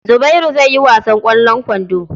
Zubairu zai yi wasan ƙwallon kwando.